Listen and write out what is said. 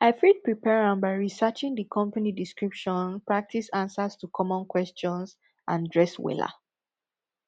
i fit prepare am by researching di company description practice answers to common questions and dress wella